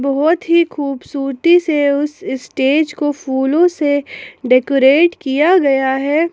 बहुत ही खूबसूरती से उस स्टेज को फूलों से डेकोरेट किया गया है।